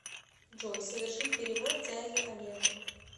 джой совершить перевод дяде олегу